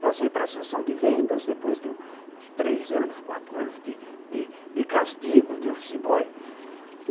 Passei para a sessão de vendas, depois de três anos, quatro anos de de castigo de office boy.